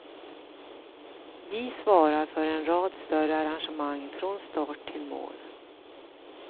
Vi svarar för en rad större arrangemang, från start till mål.